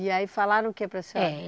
E aí falaram o que para a senhora? Eh